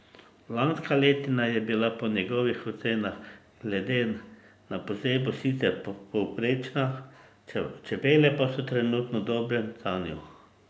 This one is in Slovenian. Lanska letina je bila po njegovih ocenah glede na pozebo sicer povprečna, čebele pa so trenutno v dobrem stanju.